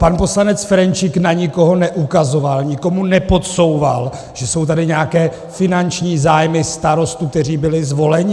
Pan poslanec Ferjenčík na nikoho neukazoval, nikomu nepodsouval, že jsou tady nějaké finanční zájmy starostů, kteří byli zvoleni.